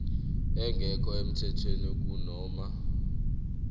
engekho emthethweni kunoma